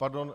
Pardon.